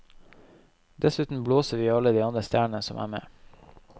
Dessuten blåser vi i alle de andre stjernene som er med.